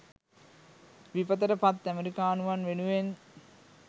විපතට පත් ඇමරිකානුවන් වෙනුවෙන්